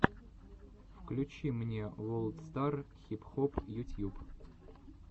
включи мне волд стар хип хоп ютьюб